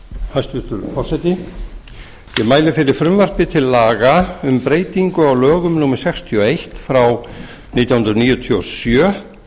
forseti ég mæli fyrir frumvarpi til laga um um breytingu á lögum númer sextíu og eitt nítján hundruð níutíu og sjö